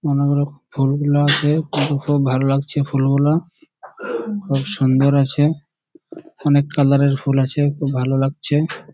অনেকরকম ফুলগুলা আছে ফুলগুলি ভালো লাগছে ফুলগুলা খুব সুন্দর আছে অনেক কালার -এর ফুল আছে খুব ভালো লাগছে।